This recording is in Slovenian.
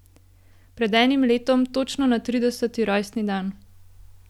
Pred enim letom, točno na trideseti rojstni dan.